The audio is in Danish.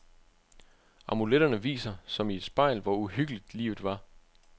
Amuletterne viser, som i et spejl, hvor uhyggeligt livet var.